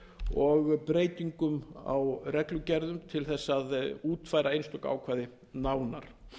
og breytingum á reglugerðum til þess að útfæra einstök ákvæði nánar